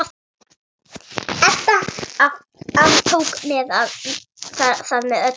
Edda aftók það með öllu.